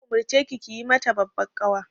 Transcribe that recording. Na umarce ki yi mata babbar ƙawa.